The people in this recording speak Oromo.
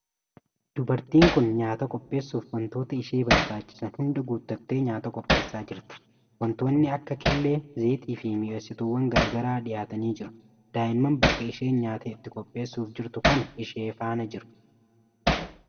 Dubartiin kun nyaata qopheessuf wantoota ishee barbaachisan hundaa guuttattee nyaata qopheessaa jirti. Wantoonni akka killee, zayiita fi mi'eessituwwan garaa garaa dhiyaatanii jiru. Daa'imman bakka isheen nyaata itti qopheessuf jirtu kana ishee faana jiru.